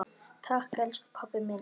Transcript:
Takk elsku pabbi minn.